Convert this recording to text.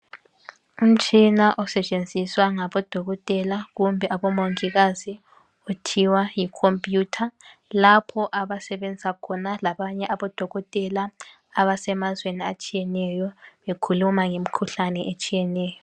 Umtshina osetshenziswa ngabodokotela kumbe abomongikazi kuthiwa yikhomp'yutha lapho abasebenza khona labanye abodokotela abasemazweni atshiyeneyo bekhuluma ngemikhuhlane etshiyeneyo.